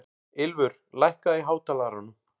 Ylfur, lækkaðu í hátalaranum.